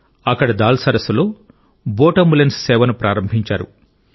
అక్కడి దాల్ సరస్సులో boat ambulance సేవను ప్రారంభించారు